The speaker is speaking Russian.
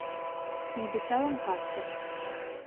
небеса ланкастера